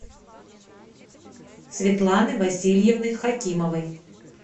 светланы васильевны хакимовой